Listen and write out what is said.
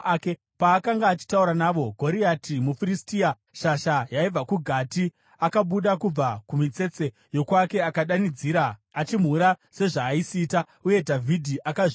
Paakanga achitaura navo, Goriati, muFiristia, shasha yaibva kuGati, akabuda kubva kumitsetse yokwake akadanidzira achimhura sezvaaisiita, uye Dhavhidhi akazvinzwa.